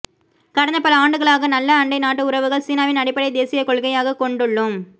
கடந்த பல ஆண்டுகளாக நல்ல அண்டை நாட்டு உறவுகள் சீனாவின் அடிப்படை தேசியக் கொள்கையாக கொண்டுள்ளோம்